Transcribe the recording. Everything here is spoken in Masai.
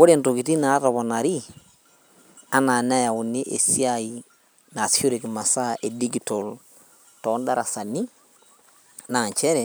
Ore intokiting natoponari anaa neyauni esiai nasishoreki imasaa e digital tondarasani naa nchere